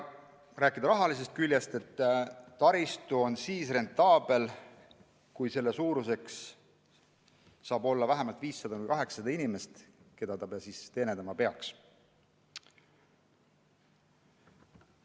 Mis puutub rahalisse külge, siis taristu on rentaabel, kui see teenindab vähemalt 500–800 inimest.